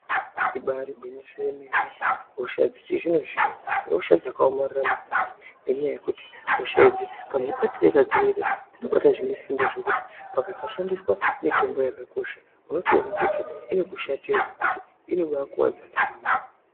Ibaari gwinyiso yemene hosha dzechizvino-zvino ihosha dzakaomarara maningi, ngenyaya yekuti hosha idzi kamubatire kadzinoita, dzinobate zvinesimba zvekuti pakasashandiswa mitombo yakakosha unotoone kuti inobaakushatira zvekuti inobaakuvadza ndaramo.